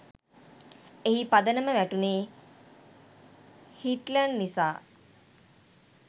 එහි පදනම වැටුණේ හිට්ලර් නිසා